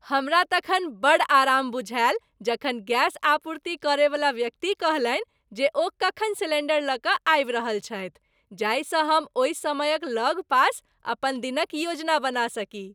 हमरा तखन बड़ आराम बुझायल जखन गैस आपूर्ति करैवला व्यक्ति कहलनि जे ओ कखन सिलेंडर लऽ कऽ आबि रहल छथि, जाहिसँ हम ओहि समयक लगपास अपन दिनक योजना बना सकी।